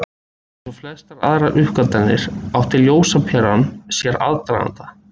Eins og flestar aðrar uppgötvanir átti ljósaperan sér aðdraganda.